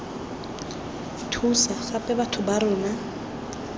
thusa gape batho ba rona